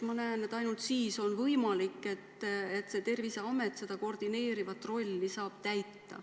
Ma näen, et ainult siis on võimalik, et Terviseamet seda koordineerivat rolli saab täita.